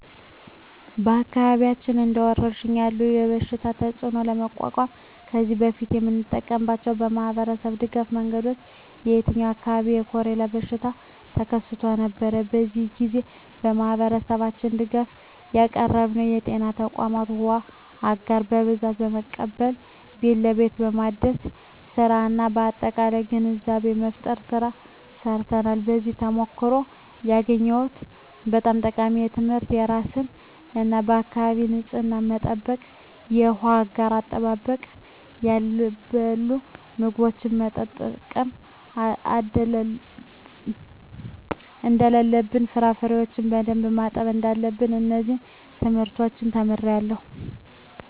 በአካባቢያችን እንደ ወረርሽኝ ያለ የበሽታ ተፅእኖ ለመቋቋም ከዚህ በፊት የተጠቀምንባቸው የማኅበረሰብ ድጋፍ መንገዶች የ የኛ አካባቢ የኮሬላ በሽታ ተከስቶ ነበር። በዚያ ግዜ ለማህበረሠባችን ድጋፍ ያቀረብንበት ከጤና ተቋማት ዉሃ አጋር በብዛት በመቀበል ቤት ለቤት የማደል ስራ እና የአጠቃቀም ግንዛቤ መፍጠር ስራ ሰርተናል። ከዚያ ተሞክሮ ያገኘሁት በጣም ጠቃሚ ትምህርት የራስን እና የአካቢን ንፅህና መጠበቅ፣ የውሃ አጋር አጠቃቀም፣ ያልበሰሉ ምግቦችን መጠቀም እደለለብን፣ ፍራፍሬዎችን በደንብ ማጠብ እዳለብን። እነዚን ትምህርቶች ተምሬአለሁ።